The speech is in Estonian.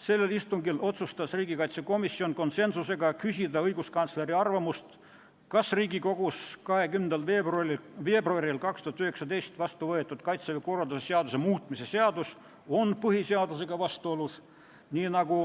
Sellel istungil otsustas riigikaitsekomisjon konsensuslikult, et küsitakse õiguskantsleri arvamust, kas Riigikogus 20. veebruaril 2019 vastu võetud Kaitseväe korralduse seaduse muutmise seadus on põhiseadusega vastuolus, nii nagu